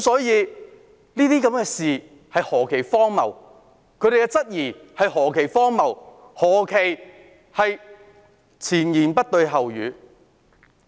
這些事情何其荒謬，他們的質疑何其荒謬，何其前言不對後語。